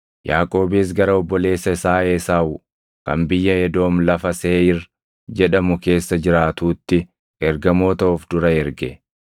Yaaqoobis gara obboleessa isaa Esaawu kan biyya Edoom lafa Seeʼiir jedhamu keessa jiraatuutti ergamoota of dura erge.